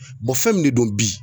fɛn min de don bi